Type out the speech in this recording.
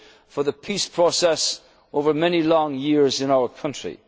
support for the peace process over many long years